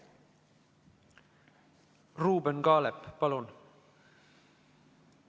Ruuben Kaalep, palun!